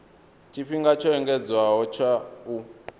tshifhinga tsho engedzedzwaho tsha u